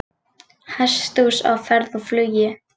Hesthús á ferð og flugi